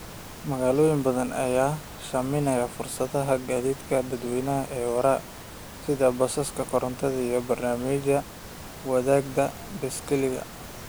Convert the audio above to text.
Magaalooyin badan ayaa sahaminaya fursadaha gaadiidka dadweynaha ee waara, sida basaska korontada iyo barnaamijyada wadaagga baaskiilka.